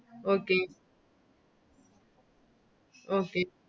Okay Okay